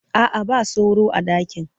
A'a, ba sauro a ɗakin.